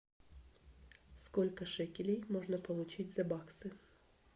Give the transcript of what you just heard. сколько шекелей можно получить за баксы